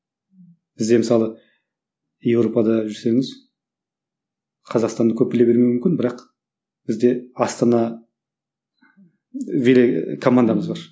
бізде мысалы европада жүрсеңіз қазақстанды көп біле бермеуі мүмкін бірақ бізде астана командамыз бар